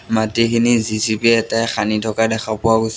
মাটিখিনি জি_চি_পি এটাই খান্দি থকা দেখা পোৱা গৈছ --